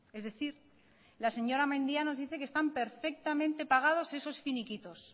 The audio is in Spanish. es decir la señora mendia dice que están perfectamente pagados esos finiquitos